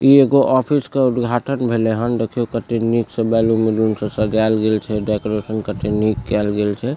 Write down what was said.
इ एगो ऑफिस के उद्घाटन भेले हन देखियो कते निक से बैलून वैलून से सजाल गेल छै डेकोरेशन कते निक कल गेल छै।